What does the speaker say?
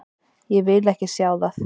Ég vil ekki sjá það.